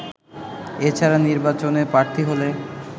এছাড়া নির্বাচনে প্রার্থী হলে